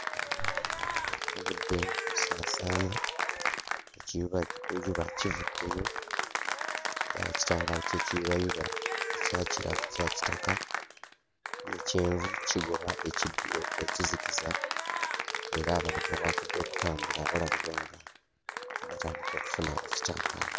Obudde busaasaana. Ekiyubayuba kivuddeyo. Ekitangaala ky'ekiyubayuba ekya kitaka ne kyenvu kigoba ekizikiza era abantu abaakedde okutambula balabibwa nga batandika okufuna ekitangaala.